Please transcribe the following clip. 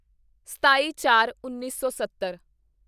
ਸਤਾਈਚਾਰਉੱਨੀ ਸੌ ਸੱਤਰ